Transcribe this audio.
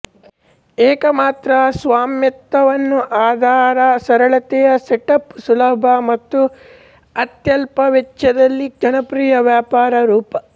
ಏಕಮಾತ್ರ ಸ್ವಾಮ್ಯತ್ವವನ್ನು ಅದರ ಸರಳತೆ ಸೆಟಪ್ ಸುಲಭ ಮತ್ತು ಅತ್ಯಲ್ಪ ವೆಚ್ಚದಲ್ಲಿ ಜನಪ್ರಿಯ ವ್ಯಾಪಾರ ರೂಪ